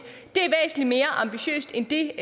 er væsentlig mere ambitiøst end det